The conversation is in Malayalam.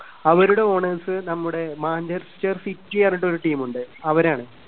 അവരുടെ owners നമ്മുടെ മാഞ്ചസ്റ്റർ സിറ്റി പറഞ്ഞിട്ട് ഒരു team ണ്ട്. അവരാണ്.